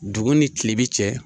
Dugu ni kilebi cɛ